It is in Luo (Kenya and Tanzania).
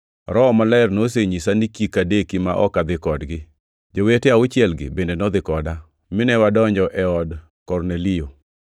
Roho Maler nonyisa ni kik adeki ma ok adhi kodgi. Jowete auchielgi bende nodhi koda, mine wadonjo e od Kornelio.